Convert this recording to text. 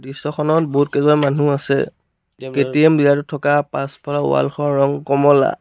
দৃশ্যখনত বহুতকেইজন মানুহ আছে কে_টি_এম ডিলাৰ টোত থকা পাছফালৰ ৱাল খনত ৰং কমলা।